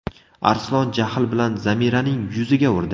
Arslon jahl bilan Zamiraning yuziga urdi.